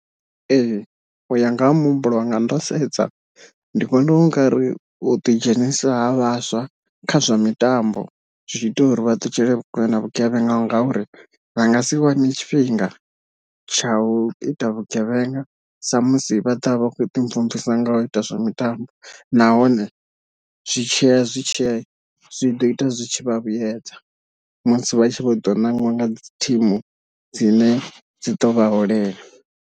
Ee uya nga ha muhumbulo wanga ndo sedza ndi vhona ungari u ḓi dzhenisa ha vhaswa kha zwa mitambo zwi tshi ita uri vha ṱutshele kule na vhugevhenga ngauri vha nga si wane tshifhinga tsha u ita vhugevhenga sa musi vha ḓovha vha kho ḓi mvumvusa nga u ita zwa mitambo, nahone zwi tshiya zwi tshiya zwi ḓo ita zwitshi vha vhuyedza musi vha tshi vho ḓo nangiwa nga dzi team dzine dzi ḓo vha holela.